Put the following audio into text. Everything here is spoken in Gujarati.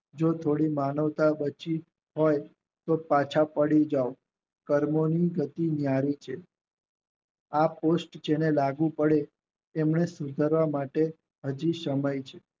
જે થોડી માનવતા બચી હોય તો પાછા પડી જાવ કર્મોની ગતિ ન્યારી છે આ પુષ્ટ જેને લાગુ પડે તેમને સુધારવા માટે હાજી સમય છે